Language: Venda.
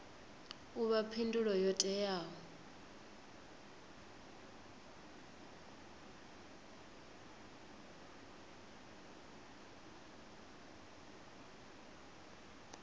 u vha phindulo yo teaho